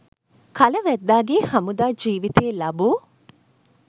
කල වැද්දාගේ හමුදා ජිවිතයේ ලබූ